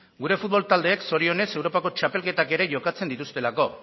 gure futbol taldeek zorionez europako txapelketak ere jokatzen dituztelako